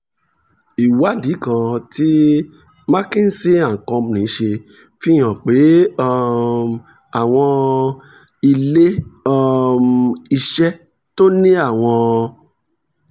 ìwádìí kan tí mckinsey & company ṣe fi hàn pé um àwọn ilé um iṣẹ́ tó ní àwọn